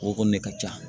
O kɔni de ka ca